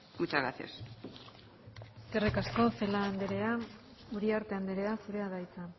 muchas gracias eskerrik asko celaá andrea uriarte andrea zurea da hitza